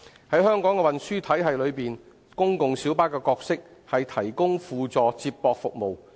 在香港的運輸體系內，公共小巴的角色，是提供輔助接駁服務。